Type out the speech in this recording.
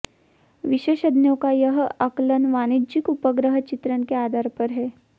विशेषज्ञों का यह आंकलन वाणिज्यिक उपग्रह चित्रण के आधार पर है